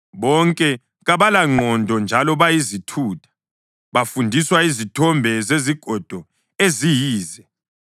Bonke kabalangqondo njalo bayizithutha, bafundiswa yizithombe zezigodo eziyize.